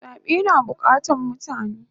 Zabe na bukatan mutane